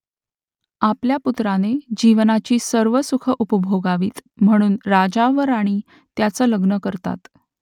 आपल्या पुत्राने जीवनाची सर्व सुखं उपभोगावीत म्हणून राजा व राणी त्याचं लग्न करतात